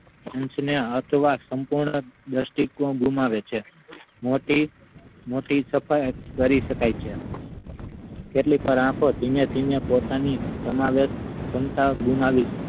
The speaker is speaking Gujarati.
અંશ ને અથવા સંપૂર્ણ દ્રષ્ટિ કોણ ગુમાવે છે મોટી મોટી પ્રકારે કરી શકાય છે કેટલીક વાર આખો ધીમે ધીમે પોતાની સમાવેશ ક્ષમતા ગુમાવી